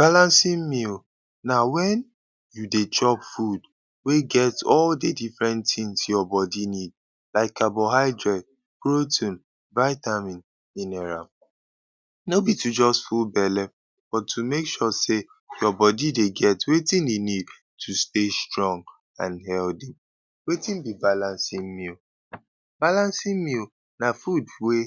Balancing meal na wen you dey chop food wey get all de different things your body need like carbohydrate, protein, vitamin, mineral. No be to just hold belle but to make sure sey your body dey get wetin e need to stay strong and healthy. Wetin be balancing meal? Balancing meal na food wey